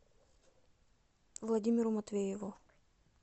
владимиру матвееву